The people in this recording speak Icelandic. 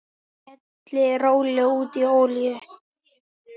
Hellið rólega út í olíu.